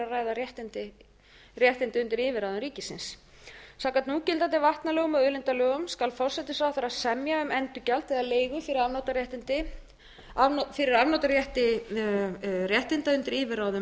ræða réttindi undir yfirráðum ríkisins samkvæmt núgildandi vatnalögum og auðlindalögum skal forsætisráðherra semja um endurgjald eða leigu fyrir afnotarétt réttinda undir yfirráðum